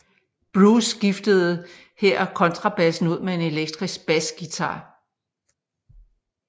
Bruce skiftede her kontrabassen ud med en elektrisk basguitar